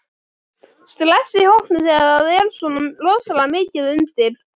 Stress í hópnum þegar það er svona rosalega mikið undir?